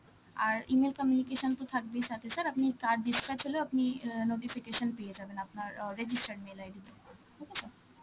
আর E-mail communication তো থাকবেই সাথে, sir আপনি card dispatch হলেও আপনি অ্যাঁ notification পেয়ে যাবেন, আপনার অ্যাঁ registered mail ID তে, okay sir?